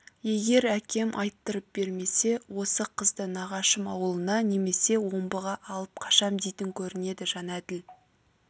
егер әкем айттырып бермесе осы қызды нағашым ауылына немесе омбыға алып қашам дейтін көрінеді жәнәділ